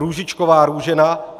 Růžičková Růžena